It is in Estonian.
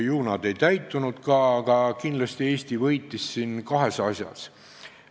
Aga kindlasti Eesti võitis siin kahes asjas.